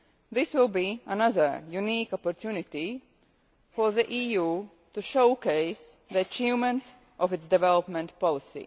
This will be another unique opportunity for the EU to showcase the achievements of its development policy.